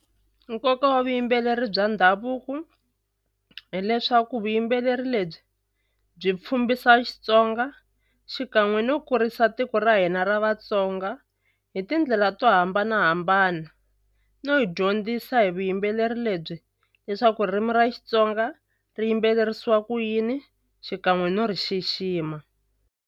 Nkoka wa vuyimbeleri bya ndhavuko hileswaku vuyimbeleri lebyi byi Xitsonga xikan'we no kurisa tiko ra hina ra Vatsonga hi tindlela to hambanahambana no hi dyondzisa hi vuyimbeleri lebyi leswaku ririmi ra Xitsonga ri yimbeleriwa ku yini xikan'we no ri xixima.